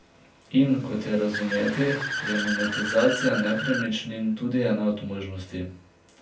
In, kot je razumeti, je monetizacija nepremičnin tudi ena od možnosti.